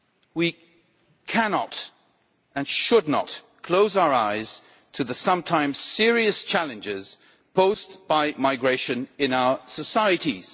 We cannot, and should not, close our eyes to the sometimes serious challenges posed by migration in our societies.